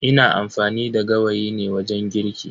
Ina amfani da gawayi ne wajen girki.